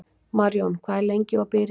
Marjón, hvað er lengi opið í Ríkinu?